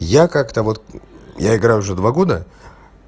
я как-то вот я играю уже два года